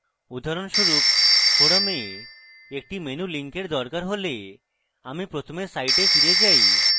উদাহরণস্বরূপ forums a একটি menu link দরকার হলে আমি প্রথমে site ফিরে যাই